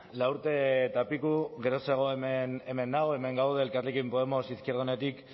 lau urte eta piko geroxeago hemen nago hemen gaude elkarrekin podemos izquierda unidatik